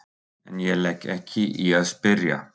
En ég legg ekki í að spyrja.